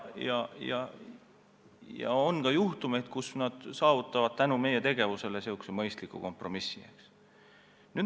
Ja on ka ette tulnud, et nad saavutavad tänu meie tegevusele mõistliku kompromissi.